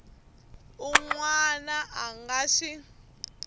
un wana a nga swi